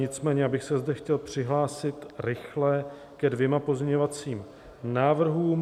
Nicméně bych se zde chtěl přihlásil rychle ke dvěma pozměňovacím návrhům.